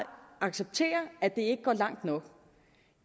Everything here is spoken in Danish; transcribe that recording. acceptere at det ikke går langt nok